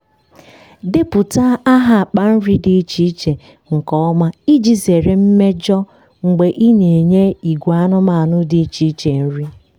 depụta aha akpa nri dị iche iche nke ọma iji zere mmejọ mgbe ị na-enye ìgwè anụmanụ dị iche iche nri.